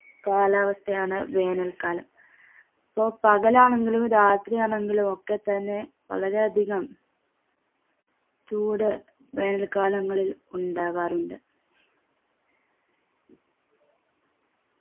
കാലാവസ്ഥയാണ് വേനൽകാലം പൊ പകലാണെങ്കിലും രാത്രിയാണെങ്കിലും ഒക്കെ തന്നെ വളരെയധികം ചൂട് വേനൽക്കാലങ്ങളിൽ ഉണ്ടാകാറുണ്ട്